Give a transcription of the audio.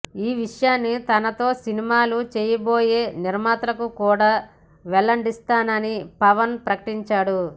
ఈవిషయాన్ని తనతో సినిమాలు చేయబోయే నిర్మాతలకు కూడా వెల్లడిస్తానని పవన్ ప్రకటించాడు